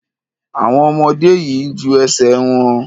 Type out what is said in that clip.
Àwọn ọmọdé yìí ń ju ẹsẹ̀ wọn.